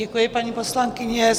Děkuji, paní poslankyně.